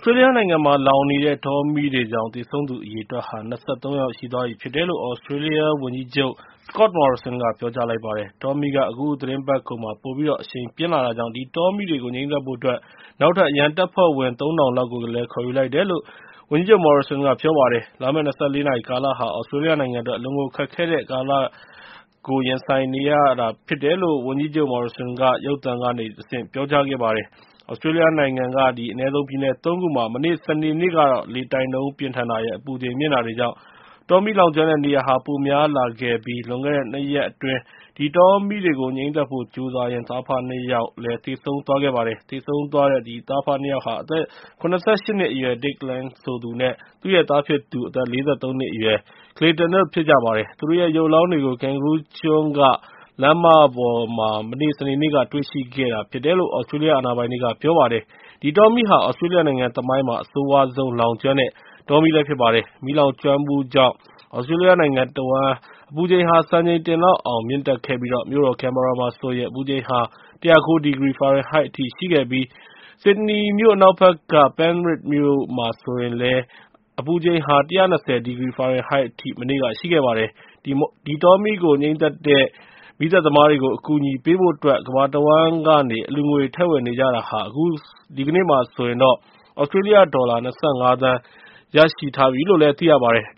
စတြေးလျနိုင်ငံမှာ လောင်နေတဲ့ တောမီးတွေကြောင့် သေဆုံးသူ အရေအတွက်ဟာ ၂၃ ယောက် ရှိသွားပြီဖြစ်တယ်လို့ သြစတြေးလျဝန်ကြီးချုပ် Scott Morrison က ပြောကြားလိုက်ပါတယ်။ တောမီးက အခုသီတင်းပတ်ကုန် ပိုပြီးတော့ အရှိန်ပြင်းလာတာကြောင့် အဲဒီတောမီးတွေကို ငြှိမ်းသတ်ဖို့အတွက် နောက်ထပ် အရန်တပ်ဖွဲ့ဝင် ၃ ထောင်လောက်ကို ခေါ်ယူလိုက်တယ်လို့ သူကပြောပါတယ်။ လာမယ့် ၂၄ နာရီကာလဟာ သြစတြေးလျနိုင်ငံအတွက် အလွန်ကိုခက်ခဲတဲ့ ကာလကို ရင်ဆိုင်နေရတာ ဖြစ်တယ်လို့ ဝန်ကြီးချုပ် Morrison က ရုပ်သံကနေ တဆင့် ပြောပါတယ်။ သြစတြေးလျနိုင်ငံက အနည်းဆုံး ပြည်နယ် ၃ ခုမှာ မနေ့ စနေနေ့ လေတိုက်နှုန်း ပြင်းထန်တာရယ်၊ အပူချိန်မြင့်တာတွေကြောင့် တောမီးလောင်ကျွမ်းတဲ့နေရာဟာ ပိုများလာခဲ့တာဖြစ်ပြီး လွန်ခဲ့တဲ့ ၂ ရက်အတွင်း အဲဒီတောမီးတွေကို ငြှိမ်းသတ်ဖို့ ကြိုးစားရင်းနဲ့ သားအဖနှစ်ယောက် သေဆုံးခဲ့တာဖြစ်ပါတယ်။ သေဆုံးသွားတဲ့ သားအဖနှစ်ယောက်ဟာ အသက် ၇၈ နှစ်အရွယ် Dick Lang ဆိုသူနဲ့ သူ့ရဲ့သားဖြစ်သူ အသက် ၄၃ နှစ်အရွယ် Claton တို့ ဖြစ်ကြပါတယ်။ သူတို့ရဲ့ ရုပ်အလောင်းတွေကို Kangaroo ကျွန်းက လမ်းမပေါ်မှာ စနေနေ့က တွေ့ရှိခဲ့တာဖြစ်တယ်လို့ သြစတြေးလျ အာဏာပိုင်တွေက ပြောပါတယ်။ ဒီတောမီးဟာ သြစတြေးလျနိုင်ငံသမိုင်းမှာ အဆိုးရွားဆုံး လောင်ကျွမ်းတဲ့ တောမီးဖြစ်ပါတယ်။ မီးလောင်ကျွမ်းမှုကြောင့် သြစတြေးလျနိုင်ငံတဝှမ်း အပူချိန်ဟာ စံချိန်တင်လောက်အောင် မြင့်တက်ခဲ့ပြီး မြို့တော် ကင်ဘာရာမှာဆိုရင် အပူချိန်ဟာ ၁၀၉ ဒီဂရီ ဖာရင်ဟိုက်အထိ ရှိခဲ့ပြီး ဆစ်ဒနီမြို့ အနောက်ဘက်က Penrith မြို့မှာဆိုရင် ၁၂၀ ဒီဂရီ ဖာရင်ဟိုက်အထိ ရှိခဲ့ပါတယ်။ ဒီတောမီးကို ငြှိမ်းသတ်နေတဲ့ မီးသတ်သမားတွေကို အကူအညီပေးဖို့အတွက် ကမ္ဘာတဝှမ်းကနေ အလှူငွေတွေ ထည့်ဝင်နေကြတာမှာ အခု ဒီကနေ့မှာဆိုရင် သြစတြေးလျဒေါ်လာ ၂၅ သန်း ရရှိထားပြီဖြစ်တယ်လို့လည်း သိရပါတယ်။